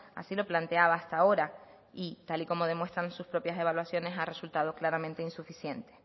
así lo planteaba hasta ahora y tal y como demuestran sus propias evaluaciones ha resultado claramente insuficiente